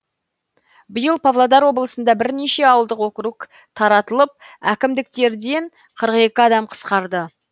биыл павлодар облысында бірнеше ауылдық округ таратылып әкімдіктерден қырық екі адам қысқарады